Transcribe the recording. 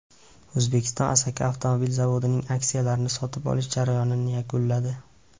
O‘zbekiston Asaka avtomobil zavodining aksiyalarini sotib olish jarayonini yakunladi.